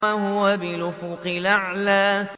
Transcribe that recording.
وَهُوَ بِالْأُفُقِ الْأَعْلَىٰ